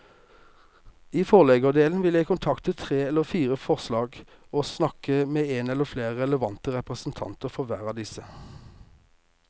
I forleggerdelen vil jeg kontakte tre eller fire forlag og snakke med en eller flere relevante representanter for hver av disse.